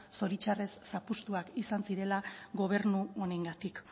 zoritxarrez zapuztuak izan zirela gobernu honengatik